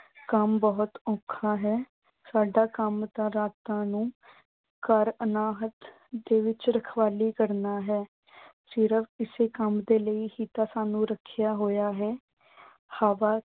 ਕੰਮ ਬਹੁਤ ਔਖਾ ਹੈ। ਸਾਡਾ ਕੰਮ ਤਾਂ ਰਾਤਂ ਨੂੰ ਦੇ ਵਿੱਚ ਰਖਵਾਲੀ ਕਰਨਾ ਹੈ। ਫਿਰ ਇਸੇ ਕੰਮ ਦੇ ਲਈ ਹੀ ਤਾਂ ਸਾਨੂੰ ਰੱਖਿਆ ਹੋਇਆ ਹੈ। ਹਵਾ